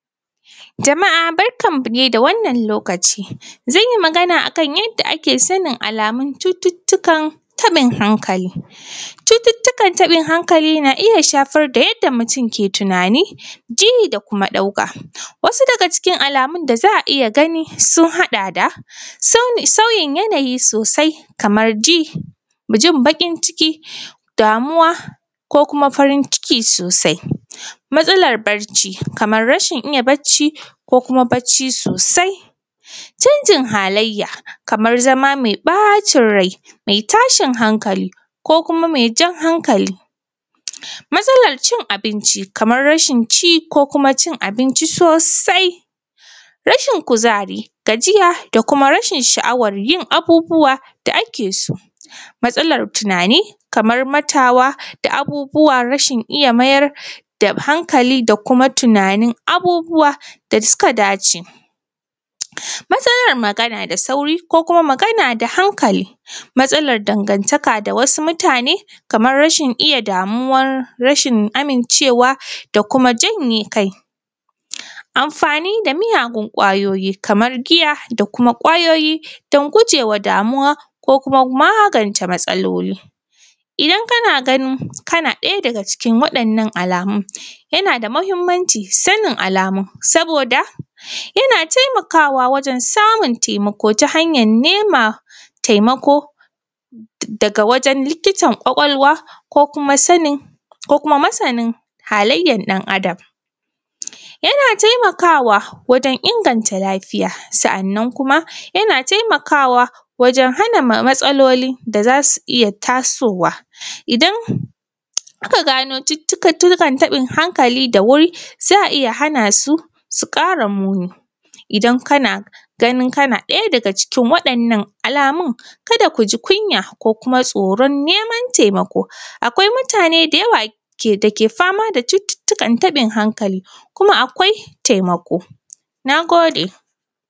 Jama’a barkanmu dai da wannan lokaci. Zan yi magana a kan yadda ake sanin alamun cututtukan taɓin hankali. Cututtukan taɓin hankali na iya shafar da yadda mutum yake tunani, ji da kuma ɗauka. Wasu daga cikin alamun da za a iya gani sun haɗa da: sauyin yanayi sosai, kamar ji, jin baƙin ciki, damuwa ko kuma farin ciki sosai. Matsalar barci, kamar rashin iya barci, ko kuma barci sosai. Canjin halayya, kamar zama mai ɓacin rai, mai tashin hankali ko kuma mai jan hankali. Matsalar cin abinci, kamar rashin cin abinci ko kuma cin abinci sosai. Rashin kuzari, gajiya da kuma rashin sha’awar yin abubuwa da ake so. Matslar tunani, kamar mantawa da abubuwa, rashin iya mayar da hankali da kuma tunanin abubuwa da suka dace. Matsalar magana da sauri ko kuma magana da hankali. Matsalar dangantaka da wasu mutane, kamar rashin iya damuwa, rashin amincewa da kuma janye kai. Amfani da miyagun ƙwayoyi kamar giya da kuma ƙwayoyi don guje wa damuwa ko kuma magance matsaloli. Idan kana ganin kana ɗaya daga cikin waɗannan alamun, yana da muhimmanci, sanin alamun, saboda yana taimakawa wajen samun taimako ta hanya nema taimako daga wajn likitan ƙwaƙwalwa ko kuma sanin, ko kuma masanin halayyar dan Adam. Yana taimakwa wajen inganta lafiya. Sa’annan kuma yana taimakawa wajen hana ma matsaloli da za su iya tasowa. Idan aka gano cututtukan taɓin hankali da wuri, za a iya hana su su ƙara muni. Idan kana ganin kana ɗaya daga cikin waɗannan alamun, kada ku ji kunya ko kuma tsoron neman taimako. Akwai mutane da yawa da ke fama da cututtukan taɓin hankali kuma akwai taimako. Na gode